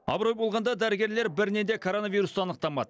абырой болғанда дәрігерлер бірінен де коронавирусты анықтамады